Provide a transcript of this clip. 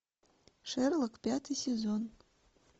шерлок пятый сезон